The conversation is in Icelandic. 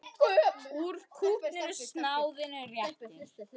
Úr kútnum snáðinn réttir.